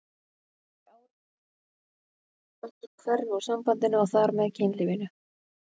Þegar árin líða finnst mörgum eins og spennan hverfi úr sambandinu og þar með kynlífinu.